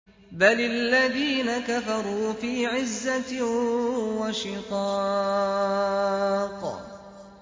بَلِ الَّذِينَ كَفَرُوا فِي عِزَّةٍ وَشِقَاقٍ